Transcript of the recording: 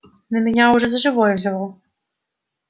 но меня уже за живое взяло